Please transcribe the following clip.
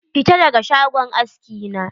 Fita daga shagon aski na?